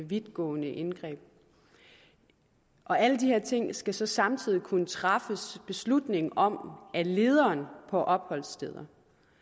vidtgående indgreb alle de her ting skal der så samtidig kunne træffes beslutning om af lederen på opholdsstedet